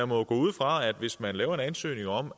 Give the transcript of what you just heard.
må jo gå ud fra at hvis man laver en ansøgning om